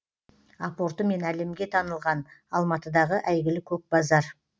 апортымен әлемге танылған алматыдағы әйгілі көк базар